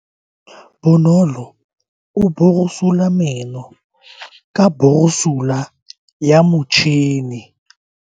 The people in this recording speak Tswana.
Bonolo o borosola meno ka borosolo ya motšhine.